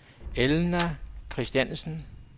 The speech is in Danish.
Elna Christiansen